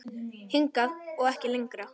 Hingað og ekki lengra.